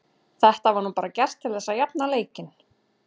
Þetta var nú bara gert til þess að jafna leikinn.